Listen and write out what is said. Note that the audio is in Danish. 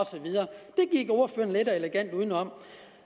elegant udenom